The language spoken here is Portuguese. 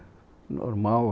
É normal.